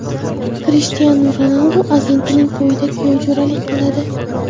Krishtianu Ronaldu agentining to‘yida kuyovjo‘ralik qiladi.